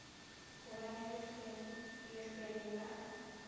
go ba le lehlwele la